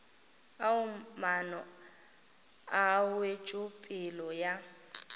ao maano a wetšopele ya